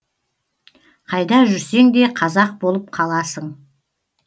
қайда жүрсең де қазақ болып қаласың